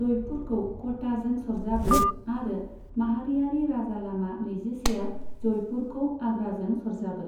जयपुरखौ क'टाजों सरजाबो आरो माहारियारि राजालामा नैजिसेआ जयपुरखौ आग्राजों सरजाबो।